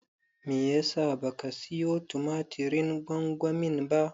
Menene yasa baka siyo tumatirin gwamgwanin ba?